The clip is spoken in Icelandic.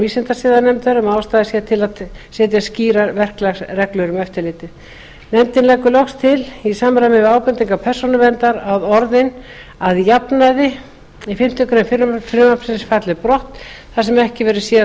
vísindasiðanefndar um að ástæða sé til að setja skýrar verklagsreglur um eftirlitið nefndin leggur loks til í samræmi við ábendingar persónuverndar að orðin að jafnaði í fimmtu grein frumvarpsins falli brott þar sem ekki verður séð að